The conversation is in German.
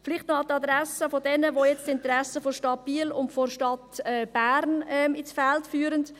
Vielleicht noch an die Adresse derjenigen, welche die Interessen der Stadt Biel und der Stadt Bern ins Feld führen.